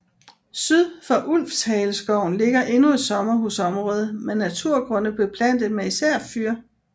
Syd for Ulvshaleskoven ligger endnu et sommerhusområde med naturgrunde beplantet med især fyr